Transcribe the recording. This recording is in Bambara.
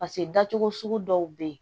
Paseke dacogo sugu dɔw bɛ yen